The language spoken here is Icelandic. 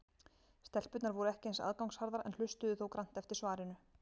Stelpurnar voru ekki eins aðgangsharðar en hlustuðu þó grannt eftir svarinu.